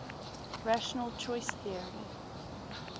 rational choice theory